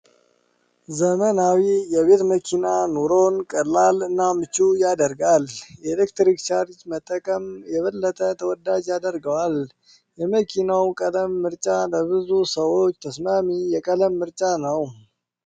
ዘመናዊ የቤት መኪና ኑሮን ቀላል እና ምቹ ያደረሰጋል! ።የኤሌክትሪክ ቻርጅ መጠቀሙ የበለጠ ተወዳጅ ያደረሰገዋል። የመኪናዉ ቀለም ምርጫ ለብዙ ሰዎች ተስማሚ የቀለም ምርጫ ነዉ።